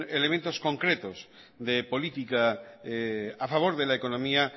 elementos concretos de política a favor de la economía